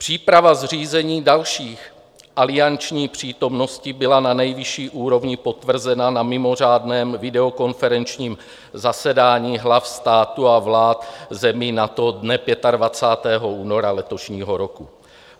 Příprava zřízení další alianční přítomnosti byla na nejvyšší úrovni potvrzena na mimořádném videokonferenčním zasedání hlav státu a vlád zemí NATO dne 25. února letošního roku.